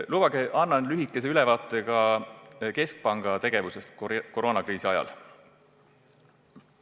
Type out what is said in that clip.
Lubage mul anda lühike ülevaade ka keskpanga tegevusest koroonakriisi ajal.